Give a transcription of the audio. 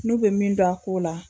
N'u be min dɔn a ko la